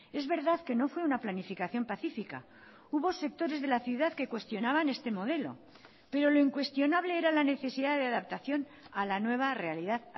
es verdad que no fue una planificación pacífica hubo sectores de la ciudad que cuestionaban este modelo pero lo incuestionable era la necesidad de adaptación a la nueva realidad